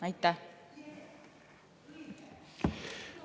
Aitäh!